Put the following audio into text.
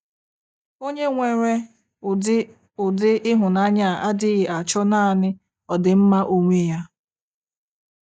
Onye nwere ụdị ụdị ịhụnanya a adịghị achọ naanị ọdịmma onwe ya.